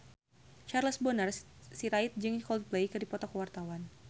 Charles Bonar Sirait jeung Coldplay keur dipoto ku wartawan